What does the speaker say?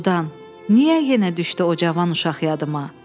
Doğrudan, niyə yenə düşdü o cavan uşaq yadıma?